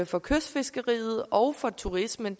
for kystfiskeriet og for turismen